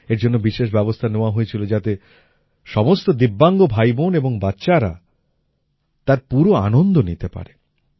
এর জন্য বিশেষ ব্যবস্থা নেওয়া হয়েছিল যাতে সমস্ত দিব্যাঙ্গ ভাইবোন এবং বাচ্চারা তার পুরো আনন্দ নিতে পারে